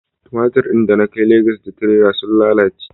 tumatiri da na kai Legas da tirela sun lalace